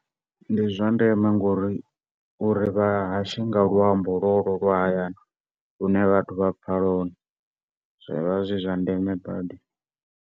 Ndi zwa ndeme ngauri uri vhahashe nga luambo lwolwo lwa hayani lune vhathu vha pfa lwone zwivha zwi zwa ndeme badi.